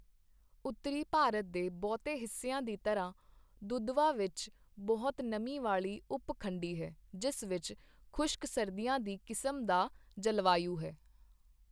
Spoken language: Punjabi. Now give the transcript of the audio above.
ਰੇਲਵੇ ਮਾਰਗਾਂ ਤੇ ਦਰਭੰਗਾ, ਆਜਮਗੜ੍ਹ, ਸਹਰਸਾ, ਭਾਗਲਪੁਰ, ਮੁਜ਼ੱਫਰਪੁਰ, ਫਿਰੋਜ਼ਪੁਰ, ਪਟਨਾ, ਕਟਿਹਾਰ ਅਤੇ ਅੰਮ੍ਰਿਤਸਰ ਆਦਿ ਜਿਹੇ ਦੇਸ਼ ਭਰ ਦੇ ਪ੍ਰਮੁੱਖ ਸਥਲਾਂ ਨੂੰ ਸ਼ਾਮਿਲ ਕਰਨ ਦੇ ਲਈ ਵਿਸ਼ੇਸ਼ ਟ੍ਰੇਨਾਂ ਦੀ ਯੋਜਨਾ ਬਣਾਈ ਗਈ ਹੈ।